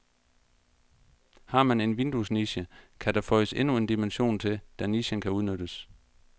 Har man en vinduesniche, kan der føjes endnu en dimension til, da nichen kan udnyttes.